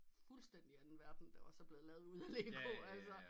Fuldstændig anden verden der også er blevet lavet ud af Lego altså